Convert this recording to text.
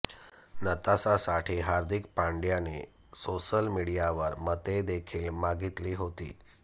नताशासाठी हार्दिक पांड्याने सोशल मीडियावर मते देखील मागितली होती